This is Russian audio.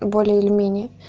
более или менее